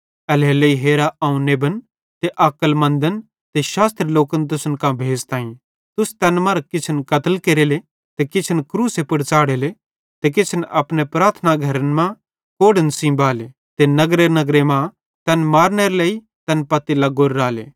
एल्हेरेलेइ हेरा अवं नेबन ते अक्लमन्दन ते शास्त्री लोकन तुसन कां भेज़ताईं तुस तैन मरां किछन कत्ल केरेले ते किछन क्रूसे पुड़ च़ाढ़ेले ते किछन अपने प्रार्थना घरे मां कोड़ेइं सेइं बाले ते नगरेनगरे मां तैन मारनेरे लेइ तैन पत्ती लग्गोरे राले